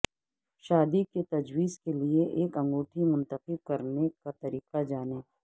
شادی کے تجویز کے لئے ایک انگوٹی منتخب کرنے کا طریقہ جانیں